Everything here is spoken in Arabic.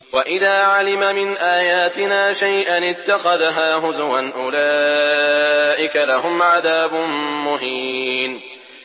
وَإِذَا عَلِمَ مِنْ آيَاتِنَا شَيْئًا اتَّخَذَهَا هُزُوًا ۚ أُولَٰئِكَ لَهُمْ عَذَابٌ مُّهِينٌ